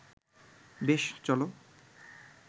বেশ, চল